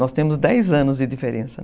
Nós temos dez anos de diferença.